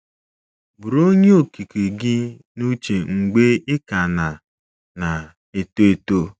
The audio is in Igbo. “ Buru Onye Okike gị n’uche mgbe ị ka na na - eto eto!